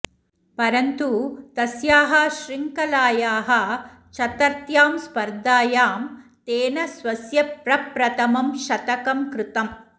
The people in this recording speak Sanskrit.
परन्तु तस्याः श्रृङ्खलायाः चतर्थ्यां स्पर्धायां तेन स्वस्य प्रप्रथमं शतकं कृतम्